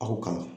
A ko kan